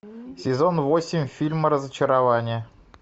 сезон восемь фильма разочарование